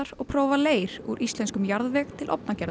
og prófa leir úr íslenskum jarðveg til